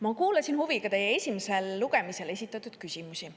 Ma kuulasin huviga teie esimesel lugemisel esitatud küsimusi.